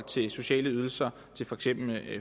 til sociale ydelser til for eksempel